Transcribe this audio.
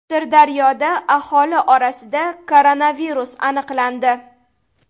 Sirdaryoda aholi orasida koronavirus aniqlandi.